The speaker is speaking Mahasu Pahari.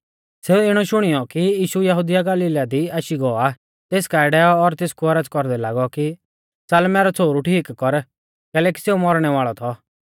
सेऊ इणौ शुणियौ कि यीशु यहुदिया कु गलीला दी आशी गौ आ तेस काऐ डैऔ और तेसकु औरज़ कौरदै लागौ कि च़ाल मैरौ छ़ोहरु ठीक कर कैलैकि सेऊ मौरणै वाल़ौ थौ